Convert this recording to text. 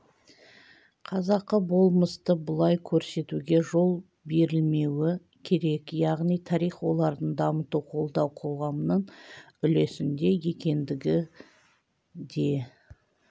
қазақы болмысты бұлай көрсетуге жол берілмеуі керек яғни тарих олардың дамыту қолдау қоғамның үлесінде екендігі де